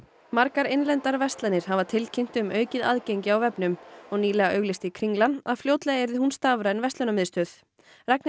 margar innlendar verslanir hafa tilkynnt um aukið aðgengi á vefnum og nýlega auglýsti Kringlan að fljótlega yrði hún stafræn verslunarmiðstöð Ragnheiður